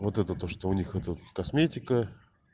вот это то что у них это косметика